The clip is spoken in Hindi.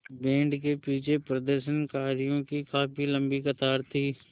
बैंड के पीछे प्रदर्शनकारियों की काफ़ी लम्बी कतार थी